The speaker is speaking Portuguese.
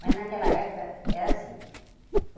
Mas, naquela época, era assim.